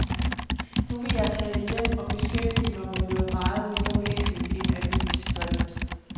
Nu vil jeg tage hjem og beskæftige mig med noget meget mere væsentligt end avisdrift.